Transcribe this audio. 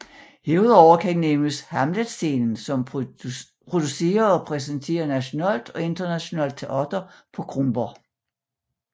Herudover kan nævnes HamletScenen som producerer og præsenterer nationalt og internationalt teater på Kronborg